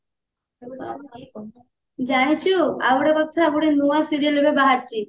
ଜାଣିଛୁ ଆଉ ଗୋଟେ କଥା ଗୋଟେ ନୂଆ serial ଏବେ ବାହାରିଛି